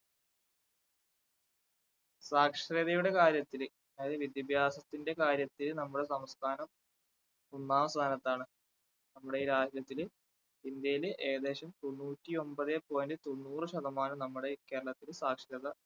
സാക്ഷരതയുടെ കാര്യത്തില് അതായത് വിദ്യാഭ്യാസത്തിന്റെ കാര്യത്തിൽ നമ്മളെ സംസ്ഥാനം ഒന്നാം സ്ഥാനത്താണ് നമ്മുടെ ഈ രാജ്യത്തില് ഇന്ത്യയില് ഏകേദശം തൊണ്ണൂറ്റി ഒൻപതേ point തൊണ്ണൂറ് ശതമാനം നമ്മടെ ഈ കേരളത്തില് സാക്ഷരത